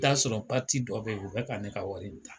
I ta sɔrɔ dɔ be yen, u bɛ ka ne ka wari ta.